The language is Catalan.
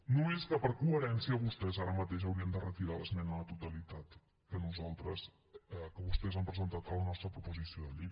només que per coherència vostès ara mateix haurien de retirar l’esmena a la totalitat que vostès han presentat a la nostra proposició de llei